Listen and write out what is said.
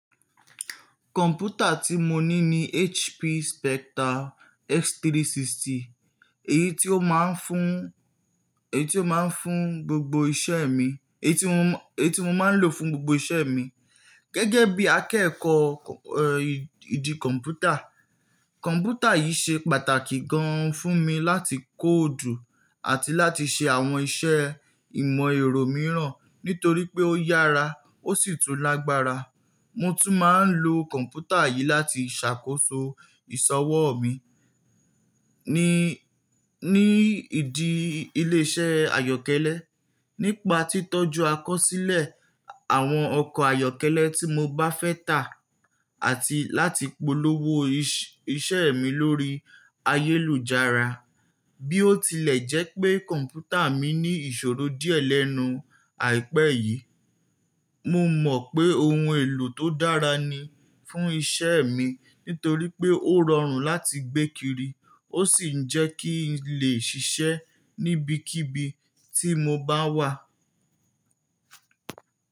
Kọ̀mpútà tí mo ní ni HP Spectre x360, èyí tí ó máa ń fún, èyí tí ó máa ń fún gbogbo iṣẹ́ mi, èyí tí mo, èyí tí mo máa ń lò fún gbogbo iṣẹ́ mi. Gẹ́gẹ́ bí akẹ́kọ̀ọ́, ẹ́, ìdí kọ̀mpútà, kọ̀mpútà yìí ṣe pàtàkì gan fún mi láti kóòdù àti láti ṣe àwọn iṣẹ́ ìmọ̀ ẹ̀rọ mìíràn nítorí pé ó yára ó sì tún lágbára. Mo tún máa ń lo kọ̀mpútà yìí láti ṣàkóso ìsọwọ́ mi ní, ní ìdí ilé-iṣẹ́ àyọ́kẹ́lẹ́, nípa títọ́jú àkọsílẹ̀ àwọn ọkọ̀ àyọ́kẹ́lẹ́ tí mo bá fẹ́ tà àti láti polówó iṣẹ́ mi lórí ayélujára. Bí ó tilẹ̀ jẹ́ pé kọ̀mpútà mi ní ìṣòro díẹ̀ lẹ́nu àìpẹ́ yìí, mo mọ̀ pé ohun èlò tó dára ni fún iṣẹ́ mi nítorí pé ó rọrùn láti gbé kiri ó sì ń jẹ́ kí n lè ṣiṣẹ́ níbikíbi tí mo bá wà.